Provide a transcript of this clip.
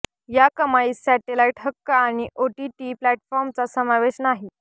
या कमाईत सॅटेलाइट हक्क आणि ओटीटी प्लॅटफॉर्मचा समावेश नाही